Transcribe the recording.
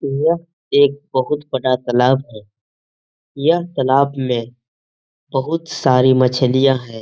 यह एक बहुत बड़ा तालाब है यह तालाब में बहुत सारी मछलियाँ हैं।